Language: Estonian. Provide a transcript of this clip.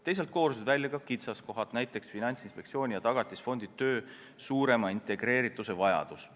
Teisalt koorusid välja ka kitsaskohad, näiteks Finantsinspektsiooni ja Tagatisfondi töö suurema integreerituse vajadus.